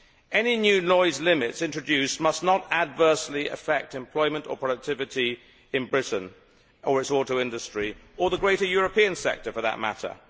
Any new noise limits introduced must not adversely affect employment or productivity in Britain or its auto industry, or the greater European sector for that matter.